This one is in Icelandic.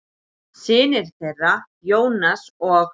Synir þeirra, Jónas og